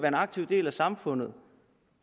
en aktiv del af samfundet